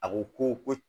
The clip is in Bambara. A ko ko